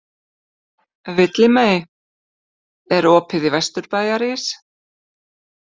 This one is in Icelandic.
Villimey, er opið í Vesturbæjarís?